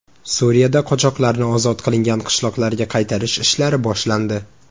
Suriyada qochoqlarni ozod qilingan qishloqlarga qaytarish ishlari boshlandi.